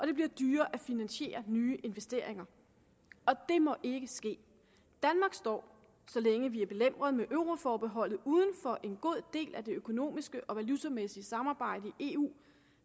det bliver dyrere at finansiere nye investeringer og det må ikke ske danmark står så længe vi er belemret med euroforbeholdet uden for en god del af det økonomiske og valutamæssige samarbejde i eu